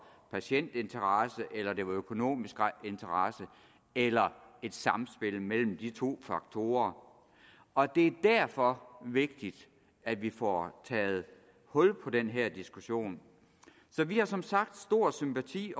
patientinteresse eller det var økonomisk interesse eller det et samspil mellem de to faktorer og det er derfor vigtigt at vi får taget hul på den her diskussion så vi har som sagt stor sympati